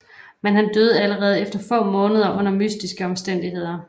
Men han døde allerede efter få måneder under mystiske omstændigheder